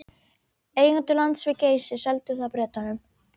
Eigendur lands við Geysi seldu það Bretanum